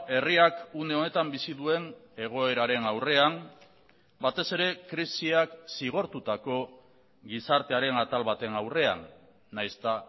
herriak une honetan bizi duen egoeraren aurrean batez ere krisiak zigortutako gizartearen atal baten aurrean nahiz eta